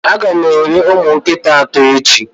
Ága m eri ụmụ nkịta atọ echi